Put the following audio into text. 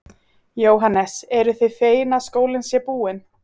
Jóhannes: Eruð þið fegin að skólinn sé búinn?